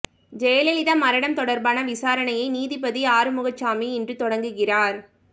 ஜெயலலிதா மரணம் தொடர்பான விசாரணையை நீதிபதி ஆறுமுகசாமி இன்று தொடங்குகிறார்